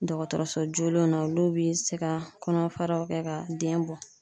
Dɔgɔtɔrɔso jolenw na olu bi se ka kɔnɔfaraw kɛ ka den bɔ.